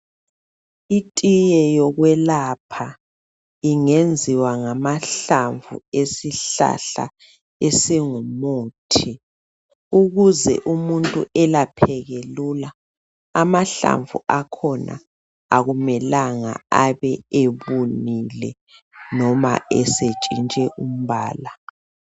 Itiye yokwelapha ingenziwa ngamahlamvu esihlala esingumuthi ukuze umuntu elapheke lula. Amahlamvu akhona, akumelanga abe ebunile noma esetshintshe umbala.